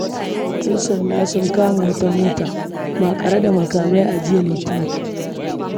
Ƴansanda sun kama wata mota maƙare da makamai a jiya Litinin.